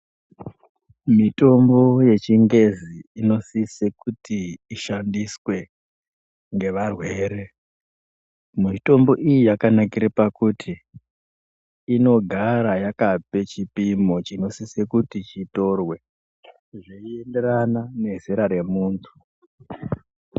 Mitombo yechingezi inosise kuti ishandiswe ngevarwere. Mitombo iyi yakanakire pakuti inogara yakape chipimo chinosise kuti chitorwe zvinoenderana nezera remuntu.